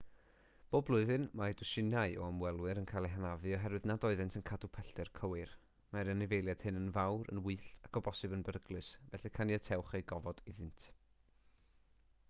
bob blwyddyn mae dwsinau o ymwelwyr yn cael eu hanafu oherwydd nad oeddent yn cadw pellter cywir mae'r anifeiliaid hyn yn fawr gwyllt ac o bosibl yn beryglus felly caniatewch eu gofod iddynt